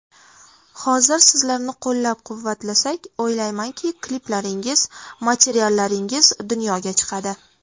Hozir sizlarni qo‘llab-quvvatlasak, o‘ylaymanki, kliplaringiz, materiallaringiz dunyoga chiqadi.